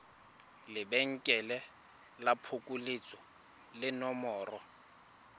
lebenkele la phokoletso le nomoro